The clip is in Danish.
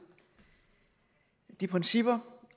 de principper